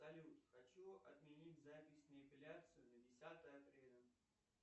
салют хочу отменить запись на эпиляцию на десятое апреля